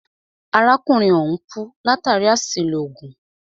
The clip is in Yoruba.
Arákùnrin ọ̀hùn kú látàri àṣìlò oògùn.